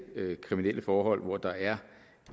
kriminelle forhold hvor der er